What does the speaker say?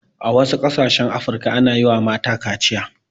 A wasu ƙasashen afirka ana yiwa mata kaciya